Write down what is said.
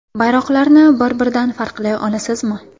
Bayroqlarni bir-biridan farqlay olasizmi?